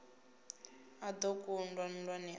a do kundwa nndwani a